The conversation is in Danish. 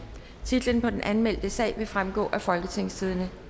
titlen på den anmeldte sag vil fremgå af folketingstidende